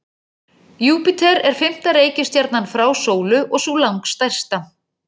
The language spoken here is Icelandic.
Júpíter er fimmta reikistjarnan frá sólu og sú langstærsta.